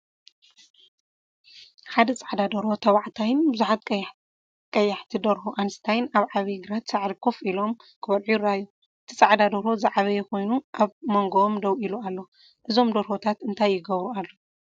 ሓደ ጻዕዳ ደርሆ (ተባዕታይ)ን ብዙሓት ቀያሕቲ ደርሆን (ኣንስትዮ) ኣብ ዓብይ ግራት ሳዕሪ ኮፍ ኢሎም፡ ክበልዑ ይረኣዩ። እቲ ጻዕዳ ደርሆ ዝዓበየ ኮይኑ ኣብ መንጎኦም ደው ኢሉ ኣሎ። እዞም ደርሆታት እንታይ ይገብሩ ኣለው?